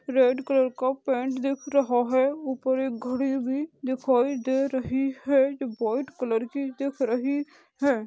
Red colour का paint दिख रहा है उपर एक घड़ी भी दिखाई दे रही है जो व्हाइट कलर की दिख रही है।